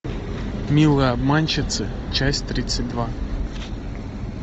милые обманщицы часть тридцать два